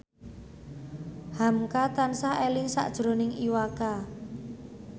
hamka tansah eling sakjroning Iwa K